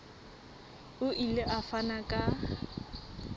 o ile a fana ka